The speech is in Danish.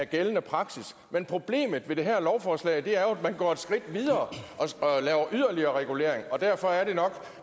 gældende praksis men problemet med det her lovforslag er jo at man går et skridt videre og laver yderligere regulering derfor